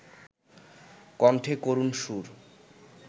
কণ্ঠে করুণ সুর